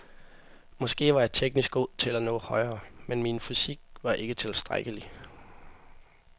Måske var jeg teknisk god nok til at nå højere, men min fysik var ikke tilstrækkelig.